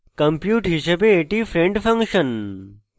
compute হিসাবে এটি friend function